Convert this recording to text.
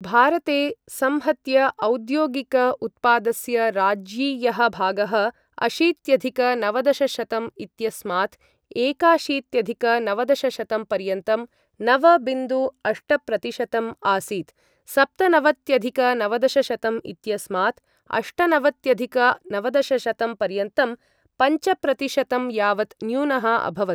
भारते संहत्य औद्योगिक उत्पादस्य राज्यीयः भागः अशीत्यधिक नवदशशतं इत्यस्मात् एकाशीत्यधिक नवदशशतं पर्यन्तं नव बिन्दु अष्टप्रतिशतम् आसीत्, सप्तनवत्यधिक नवदशशतं इत्यस्मात् अष्टनवत्यधिक नवदशशतं पर्यन्तं पञ्चप्रतिशतम् यावत् न्यूनः अभवत्।